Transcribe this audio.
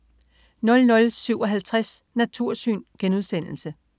00.57 Natursyn*